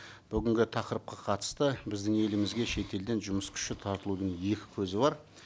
бүгінгі тақырыпқа қатысты біздің елімізге шетелден жұмыс күші тартылудың екі көзі бар